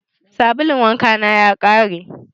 Sabulun wanka na ya ƙare.